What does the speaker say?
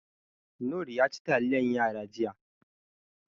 Noor yaci taliyan yara jiya.